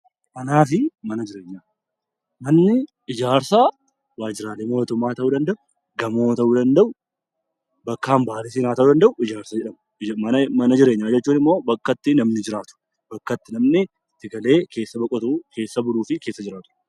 Manni ijaarsaa waajjiraalee mootummaa ta'uu danda'a gamoo ta'uu danda'u bakka hambaalee ta'uu danda'u. Mana jireenyaa jechuun immoo bakka itti namni jiraatu bakka itti namni bitatee keessa boqotu keessa buluu fi jiraatudha.